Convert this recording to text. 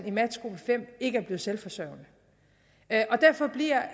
i matchgruppe fem ikke er blevet selvforsørgende derfor bliver